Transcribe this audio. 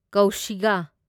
ꯀꯧꯁꯤꯒꯥ